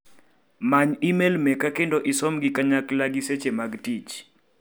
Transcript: Many imel meka kendo isom gi kanyakl agi seche mag tich.